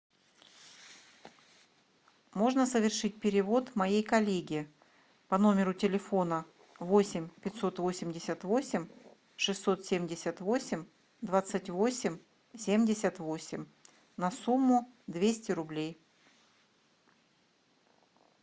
можно совершить перевод моей коллеге по номеру телефона восемь пятьсот восемьдесят восемь шестьсот семьдесят восемь двадцать восемь семьдесят восемь на сумму двести рублей